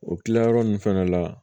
O kilayɔrɔ nun fɛnɛ la